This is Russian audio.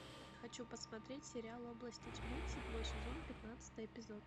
хочу посмотреть сериал области тьмы седьмой сезон пятнадцатый эпизод